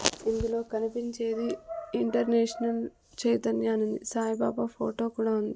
ఇందులో కనిపించేది ఇంటర్నేషనల్ చైతన్య అనుంది సాయి బాబా ఫోటో కూడా ఉంది.